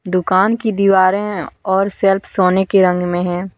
दुकान की दीवारें हैं और सेल्फ सोने के रंग में है ।